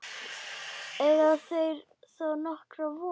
Eiga þeir þá nokkra von.